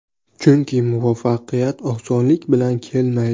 Chunki muvaffaqiyat osonlik bilan kelmaydi.